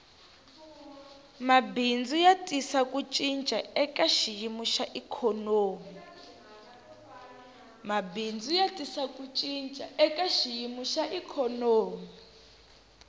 mabindzu ya tisa ku cinca eka xiyimo xa ikhonomi